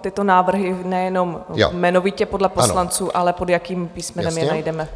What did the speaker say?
tyto návrhy nejenom jmenovitě podle poslanců, ale pod jakým písmenem je najdeme.